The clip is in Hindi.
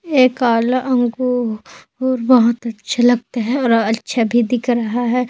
ए काला अंगु अंगूर बहोत अच्छे लगते है और अच्छा भी दिख भी रहा है।